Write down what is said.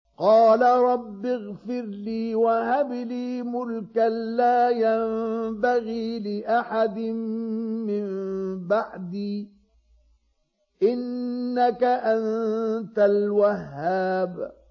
قَالَ رَبِّ اغْفِرْ لِي وَهَبْ لِي مُلْكًا لَّا يَنبَغِي لِأَحَدٍ مِّن بَعْدِي ۖ إِنَّكَ أَنتَ الْوَهَّابُ